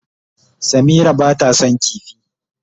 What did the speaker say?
Samira ba ta son kifi.